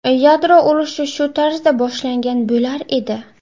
Yadro urushi shu tarzda boshlangan bo‘lar edi.